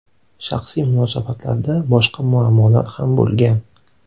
Shaxsiy munosabatlarda boshqa muammolar ham bo‘lgan.